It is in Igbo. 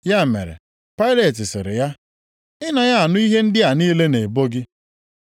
Ya mere, Pailet sịrị ya, “Ị naghị anụ ihe ndị a niile ha na-ebo gị?”